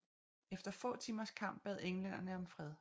Efter få timers kamp bad englænderne om fred